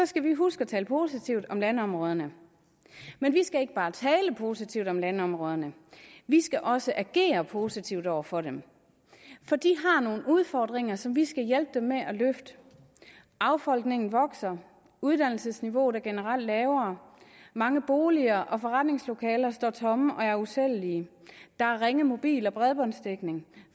skal vi huske at tale positivt om landområderne men vi skal ikke bare tale positivt om landområderne vi skal også agere positivt over for dem for de har nogle udfordringer som vi skal hjælpe dem med at løfte affolkningen vokser uddannelsesniveauet er generelt lavere mange boliger og forretningslokaler står tomme og er usælgelige der er ringe mobil og bredbåndsdækning